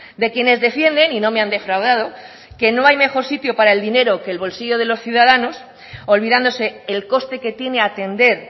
de quienes defienden y no me han defraudado que no hay mejor sitio para el dinero que el bolsillo de los ciudadanos olvidándose el coste que tiene atender